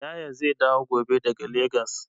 Yaya zai dawo gobe daga Legas.